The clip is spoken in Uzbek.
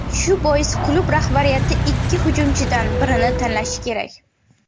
Shu bois klub rahbariyati ikki hujumchidan birini tanlashi kerak.